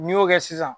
N'i y'o kɛ sisan